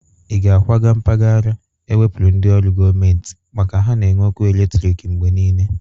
Ị ga-akwaga mpagara ewepuru ndị ọrụ gọmenti maka ha na-enwe ọkụ eletriki mgbe niile?